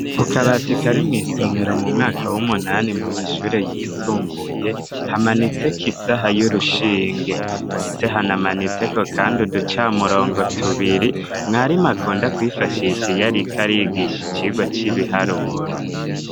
Ku kabatika ari mw'isomero mu mwaka w'umunani mu mashure yisumbuye hamanitseko isaha y'urushinge, ndetse hanamanitseko, kandi uduca murongo tubiri mwari makunda kwifashisha iyariko arigisha icirwa c'ibiharuro.